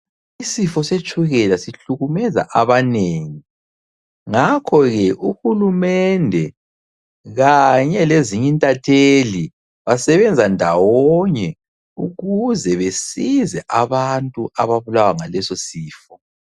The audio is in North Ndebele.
Isifo setshukela sihlukumeza abanengi. Ngakhoke uhulumende kanye lezinye intatheli basebenza ndawonye ukuze basize abantu ababulawa ngaleso sifo.